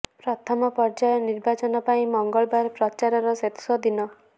ପ୍ରଥମ ପର୍ଯ୍ୟାୟ ନିର୍ବାଚନ ପାଇଁ ମଙ୍ଗଳବାର ପ୍ରଚାରର ଶେଷ ଦିନ